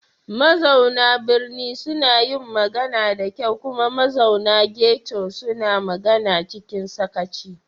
Mazauna birni suna yin magana da kyau kuma mazauna ghetto suna magana cikin sakaci.